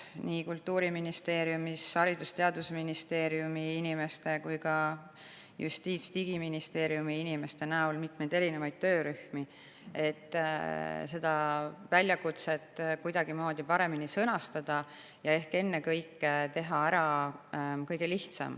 Kultuuriministeeriumi, Haridus‑ ja Teadusministeeriumi ning Justiits‑ ja Digiministeeriumi inimesed on mitmeid töörühmi, et seda väljakutset kuidagi paremini sõnastada ehk ennekõike teha ära kõige lihtsam.